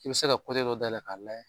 I bɛ se ka dɔ dayɛlɛ k'a layɛ